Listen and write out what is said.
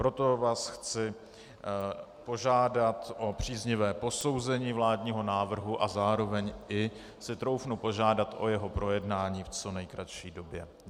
Proto vás chci požádat o příznivé posouzení vládního návrhu a zároveň i si troufnu požádat o jeho projednání v co nejkratší době.